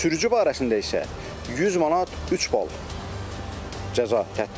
Sürücü barəsində isə 100 manat, üç bal cəza tətbbiq olunur.